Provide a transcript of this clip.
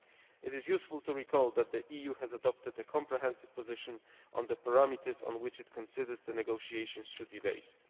It is useful to recall that the EU has adopted a comprehensive position on the parameters on which it considers that negotiations should be based.